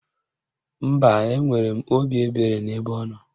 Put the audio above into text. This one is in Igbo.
Mba, enwere m obi ebere n'ebe ọnọ